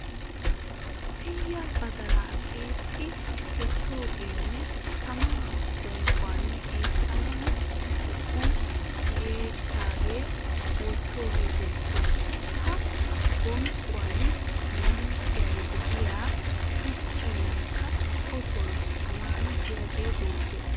Tiyya badalaa xiixxi kessoogeenne tamaa bonqquwan xiixxana wu yeggi wottoogee beettes. Ha bonqquwan lanqqen diya shuchchankka otoy taman diyagee beettes.